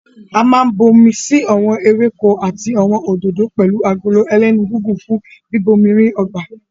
A máa n bomi sí awọn ewéko àti awọn òdodo pẹlu Agolo ẹlẹ́nu gígùn fún bíbomirin ọgbà